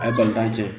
A ye balontan cɛ